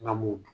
N ka m'o dun